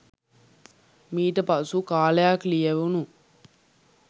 මීට පසු කාලයක් ලියැවුණු